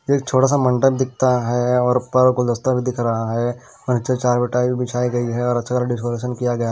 एक छोटा सा मंडप दिखता है और पर गुलदस्ता भी दिख रहा है और नीचे चार भी बिछाई गई है और अच्छा सा डेकोरेशन किया गया--